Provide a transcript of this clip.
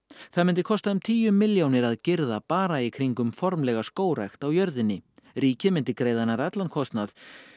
það myndi kosta um tíu milljónir að girða bara í kringum formlega skógrækt á jörðinni ríkið myndi greiða nær allan kostnað